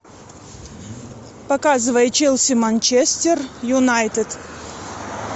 показывай челси манчестер юнайтед